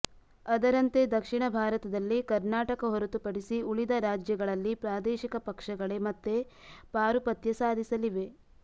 ಅದರಂತೆ ದಕ್ಷಿಣ ಭಾರತದಲ್ಲಿ ಕರ್ನಾಟಕ ಹೊರತುಪಡಿಸಿ ಉಳಿದ ರಾಜ್ಯಗಳಲ್ಲಿ ಪ್ರಾದೇಶಿಕ ಪಕ್ಷಗಳೇ ಮತ್ತೆ ಪಾರುಪತ್ಯ ಸಾಧಿಸಲಿವೆ